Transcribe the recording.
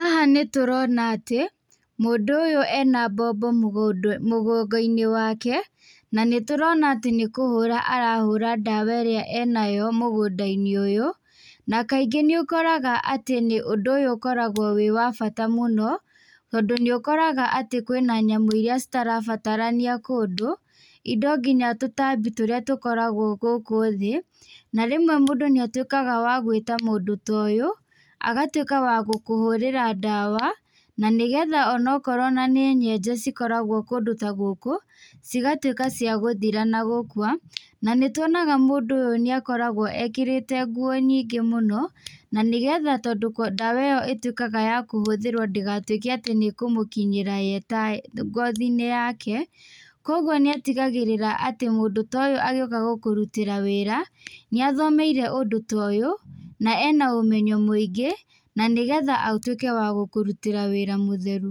Haha nĩ tũrona atĩ mũndũ ũyũ ena mbombo mũgongo-inĩ wake na nĩ tũrona atĩ nĩ kũhũra arahũra dawa ĩrĩa enayo mũgũnda-inĩ ũyũ, na kaingĩ nĩ ũkoraga atĩ ũndũ ũyũ nĩ ũkoragwo wĩ wa bata mũno tondũ nĩ ũkũroga kwĩna nyamũ iria irabatarania kũndũ, indo nginya tũtambi tũrĩa tũkoragwo gũkũ thĩ na rĩmwe mũndũ nĩ atuĩkaga wa gwĩta mũndũ ta ũyũ agatuĩka wa gũkũhũrĩra dawa na nĩgetha ona korwo nĩ nyenje cikoragwo kũndũ ta gũkũ cigatuĩka cia thira na gũkua na nĩ twonaga mũndũ ũyũ nĩ akoragwo ekĩrĩte nguo nyingĩ mũno, na nĩgetha dawa ĩyo ĩtuĩkaga ya kũhũthĩrwo ndĩgatuĩke ya kũmũkinyĩra ye ta ngothi-inĩ yake kwoguo nĩ atigagĩrĩra atĩ mũndũ ta ũyũ agĩũka gũkũrutĩra wĩra nĩ athomeire ũndũ ta ũyũ na ena ũmenyo mũingĩ na nĩgetha ũtuĩke wa gũkũrutĩra wĩra mũtheru.